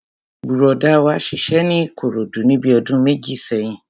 Bùrọ̀dá wa ṣiṣẹ́ ní Ìkòròdú níbi ọdún méjì sẹ́yìn